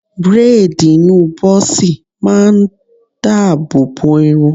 Bréèdì ìní bọ́ọ̀sì ma ń dáàbò bo irun